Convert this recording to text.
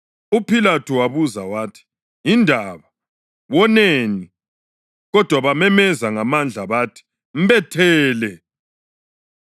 UPhilathu wabuza wathi, “Yindaba? Woneni?” Kodwa bamemeza ngamandla bathi, “Mbethele!”